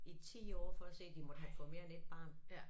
I 10 år for at se de måtte havde fået mere end 1 barn